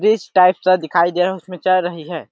Bridge type दिखाई दे रहा हैं उसमे चल रही है।